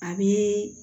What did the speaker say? A bɛ